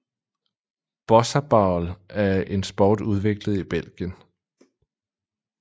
Bossaball er en sport udviklet i Belgien